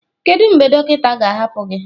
Kedu mgbe dọkịta ga-ahapụ gị?